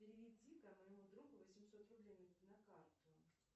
переведи ка моему другу восемьсот рублей на карту